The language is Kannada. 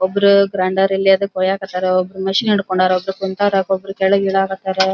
ಒಬ್ರ್ ಗ್ರಾಂಡೆರ್ ಎದೋ ಕೊರೆಯಕ್ಕತ್ತರ ಒಬ್ರ್ ಮಷೀನ್ ಹಿಡ್ಕೊಂಡಾರ ಒಬ್ರ್ ಕುಂತರ ಒಬ್ರ್ ಕೆಳಗ್ ಇಳಿಯಕ್ ಹತ್ತರ .